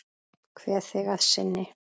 Kveð þig að sinni.